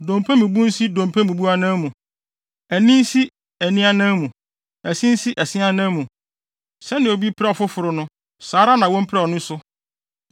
Dompe mu bu nsi dompe mu bu anan mu; ani nsi ani anan mu; ɛse nsi ɛse anan mu. Sɛnea obi pira ɔfoforo, no saa ara na wompira ɔno nso.